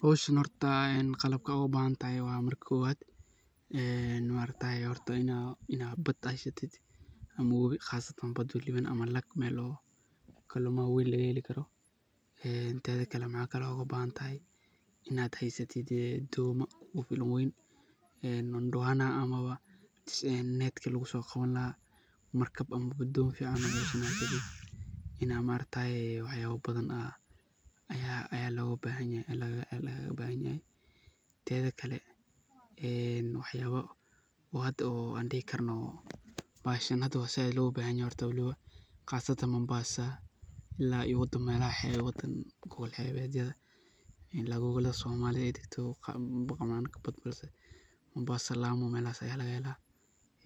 Howshan horta marka ugu hore qalabkad oga bahantahay maarataye waa inaad baad heysatid ama wabii ,qasatan waliba baad oo kalumaha waa weyn laga heli karo inaa mxa kalo oga bahan tahay ,heysatid domaa oo ku filan oo weyn ndwana ama netki lagu soqawani lahaaa markab ama ,don inaa maaragtaye wax yala badan ayaa lagaga bahan yahay ,tedha kale wax yala an hada aad loga bahan yahay aan dihi karno .Qasatan Mombasa ama melaha hebaha qab hebyada oo somalida dagto ,Mombasa ,Lamu melahas ayaa laga hela